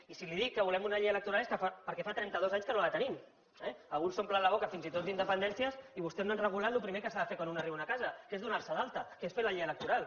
i si li dic que volem una llei electoral és perquè fa trenta dos anys que no la tenim que alguns s’omplen la boca fins i tot d’independències i vostès no han regulat el primer que s’ha de fer quan un arriba a una casa que és donar se d’alta que és fer la llei electoral